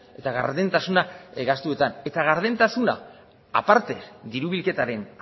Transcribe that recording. eta gardentasuna gastuetan eta gardentasuna aparte diru bilketaren